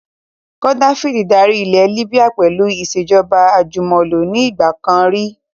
Gaddafi dárí ilẹ̀ Líbíà pẹ̀lú ìsèjọba àjùmọ̀lo ni ìgbàkan rí